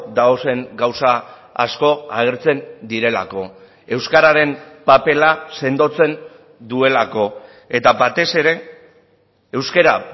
dauden gauza asko agertzen direlako euskararen papera sendotzen duelako eta batez ere euskara